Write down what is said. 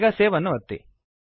ಈಗ ಸೇವ್ ಅನ್ನು ಒತ್ತಿ